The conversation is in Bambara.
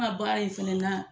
An ka baara in fɛnɛ na